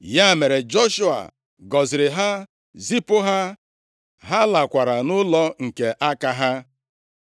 Ya mere, Joshua gọziri ha, zipụ ha, ha lakwara nʼụlọ nke aka ha.